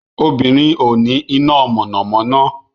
Obìnrin ò ní iná mọ̀nàmọ́ná